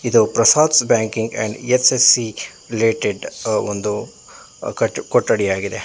ಇದು Prasad's banking and S S H related ಒಂದು ಕೊಠಡಿ ಆಗಿದೆ.